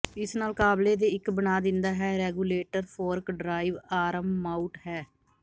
ਇਸ ਨਾਲ ਕਾਬਲੇ ਦੇ ਇੱਕ ਬਣਾ ਦਿੰਦਾ ਹੈ regulator fork drive arm mount ਹੈ